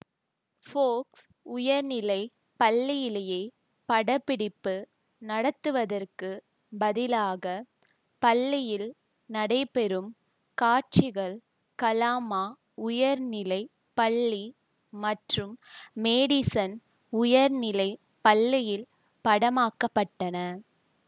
Forks உயர்நிலை பள்ளியிலேயே படப்பிடிப்பு நடத்துவதற்குப் பதிலாக பள்ளியில் நடைபெறும் காட்சிகள் கலாமா உயர்நிலை பள்ளி மற்றும் மேடிசன் உயர்நிலை பள்ளியில் படமாக்கப்பட்டன